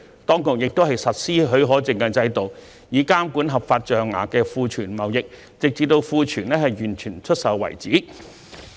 當局亦實施許可證制度，以監管合法象牙庫存貿易，直到庫存完全出售為止。